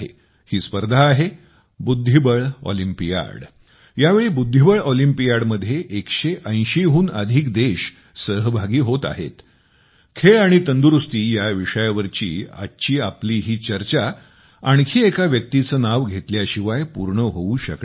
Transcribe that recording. ही स्पर्धा आहे बुद्धिबळ ऑलिंपियाड खेळ आणि तंदुरूस्ती या विषयावरची आजची आपली ही चर्चा आणखी एक व्यक्तीचं नाव घेतल्याशिवाय पूर्ण होवू शकणार नाही